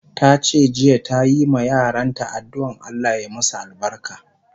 Tace jiya ta yi ma yaran ta adduan Allah ya masu albarka